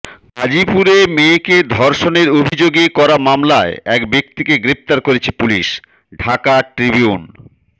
গাজীপুরে মেয়েকে ধর্ষণের অভিযোগে করা মামলায় এক ব্যক্তিকে গ্রেফতার করেছে পুলিশ ঢাকা ট্রিবিউন